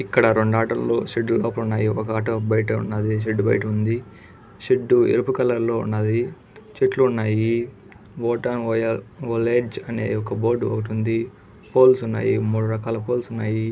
ఇక్కడ రెండు ఆటో లు షెడ్డు లోపల ఉన్నాయి ఒక ఆటో బయట ఉన్నది. షెడ్ బయట ఉంది షెడ్డు ఎరుపు కలర్ లో ఉన్నది చెట్లు ఉన్నాయి మోటావలెడ్జ్ అనే ఒక బోర్డు ఒకటి ఉంది పోల్స్ ఉన్నాయి మూడు రకాల పోల్స్ ఉన్నాయి.